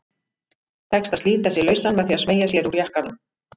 Tekst að slíta sig lausan með því að smeygja sér úr jakkanum.